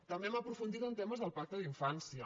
també hem aprofundit en temes del pacte d’infància